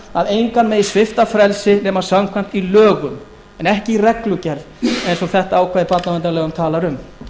að engan megi svipta frelsi nema samkvæmt lögum en ekki í reglugerð eins og þetta ákvæði barnaverndarlaga talar um